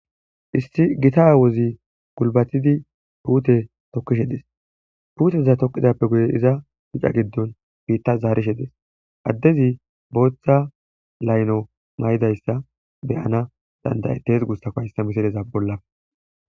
issi gita aawozi gulbatidi puute tokkishe dees puuteza toqidappe guye iza mica giddon biitta zaarishe dees addezi booththa layno may7idayssa beyana dandayetes guussa ko hayssa misideza bollaf